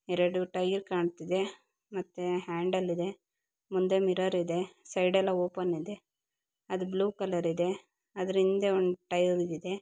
ಎರಡು ಟೈಯರ್ ಕಾಣ್ತಿದೆ ಮತ್ತೆ ಹ್ಯಾಂಡಲ್ ಇದೆ. ಮುಂದೆ ಮಿರರ್ ಇದೇ ಸೈಡ್ ಎಲ್ಲ ಓಪನ್ ಇದೇ ಅದು ಬ್ಲೂ ಕಲರ್ ಇದೆ ಅದ್ರ ಹಿಂದೆ ಒಂದು ಟೈಯರ್ ಇದೆ.